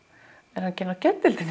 ekki inni á geðdeildinni